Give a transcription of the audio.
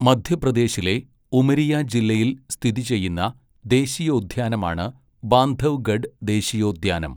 മധ്യപ്രദേശിലെ ഉമരിയ ജില്ലയിൽ സ്ഥിതി ചെയ്യുന്ന ദേശീയോദ്യാനമാണ് ബാന്ധവ്ഗഡ് ദേശീയോദ്യാനം.